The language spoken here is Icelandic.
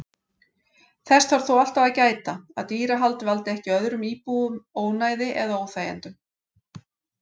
Þess þarf þó alltaf að gæta að dýrahald valdi ekki öðrum íbúum ónæði eða óþægindum.